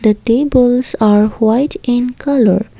the tables are white in colour.